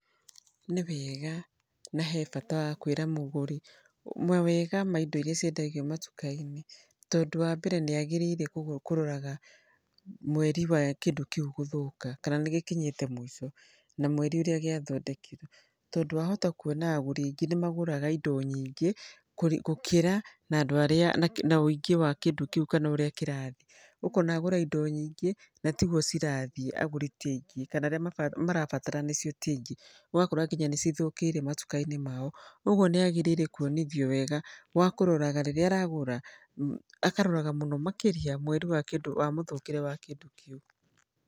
Nĩ wega na he bata wa kwĩra mũgũri mawega ma indo irĩa ciendagio matuka-inĩ. Tondũ wa mbere nĩ agĩrĩirwo kũroraga mweri wa kĩndũ kĩu gũthũka kana nĩ gĩkinyĩte mũico na mweri ũrĩa gĩathondekirwo. Tondũ wahota kuona rĩngĩ nĩ magũraga indo nyingĩ gũkĩra na andũ arĩa na ũingĩ wa kĩndũ kĩu kana ũrĩa kĩrathiĩ. Ũkona agũra indo nyingĩ na tiguo cirathiĩ agũri ti aingĩ kana arĩa marabatara nĩcio ti aingĩ. Ũgakora nginya nĩ cithũkĩire matuka-inĩ mao. Ũguo nĩ agĩrĩire kuonithio wega wa kũroraga rĩrĩa aragũra, akaroraga mũno makĩria mweri wa kĩndũ wa mũthũkĩre wa kĩndũ kĩu.